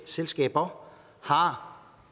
selskaber har